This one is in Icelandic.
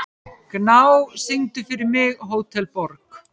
Gná, syngdu fyrir mig „Hótel Borg“.